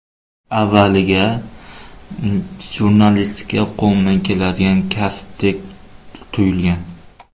Avvaliga jurnalistika qo‘limdan keladigan kasbdek tuyulgan.